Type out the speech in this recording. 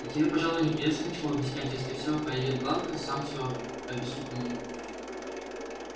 да тебе пожалуй и не придётся ничего объяснять если все пройдёт гладко сам все объясню кому надо